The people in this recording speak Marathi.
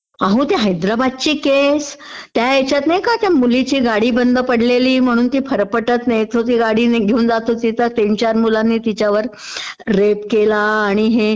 अहो त्या हैदराबादची केसं, त्या ह्यच्यात नाही का त्या मुलीची गाडी बंड पडलेली म्हणून ती फरफरटत नेत होती गाडी घेऊन जात होती तर तीन चार मुलांनी रेप केला आणि हे...